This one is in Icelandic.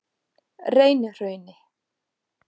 Reynihrauni